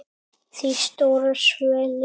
Því stóra svelli.